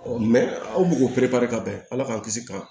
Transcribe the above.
aw b'o pereperela ka bɛn ala k'an kisi ka